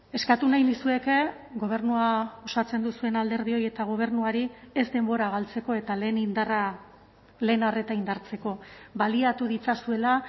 eskatu nahi nizueke gobernua osatzen duzuen alderdioi eta gobernuari ez denbora galtzeko eta lehen indarra lehen arreta indartzeko baliatu ditzazuela